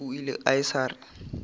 o ile a sa re